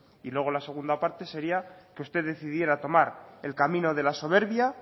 y luego la segunda parte sería que usted decidiera tomar el camino de la soberbia